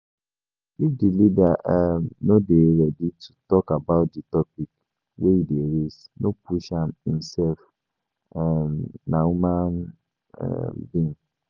If di leader um no dey ready to talk about di topic wey you dey raise, no push am im sef um na human um being